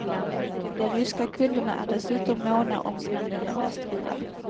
De ryska kunderna är dessutom måna om sina nya västbilar.